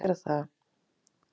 Já, þau gera það.